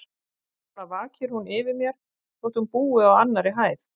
Svona vakir hún yfir mér, þótt hún búi á annarri hæð.